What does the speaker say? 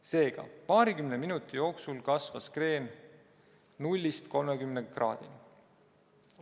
Seega, paarikümne minuti jooksul kasvas kreen nullist 30 kraadini.